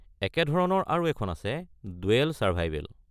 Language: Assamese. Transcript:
একে ধৰণৰ আৰু এখন আছে ‘ডুৱেল ছাৰ্ভাইভেল’।